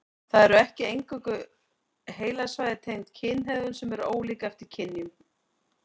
Það eru ekki eingöngu heilasvæði tengd kynhegðun sem eru ólík eftir kynjum.